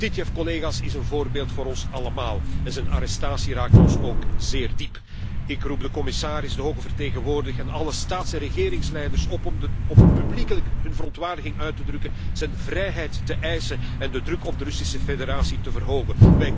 Titiev, collega's, is een voorbeeld voor ons allemaal en zijn arrestatie raakt ons ook zeer diep. Ik roep de commissaris, de hoge vertegenwoordiger en alle staats en regeringsleiders op om publiekelijk hun verontwaardiging uit te drukken, zijn vrijheid te eisen en de druk op de Russische Federatie te verhogen.